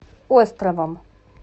островом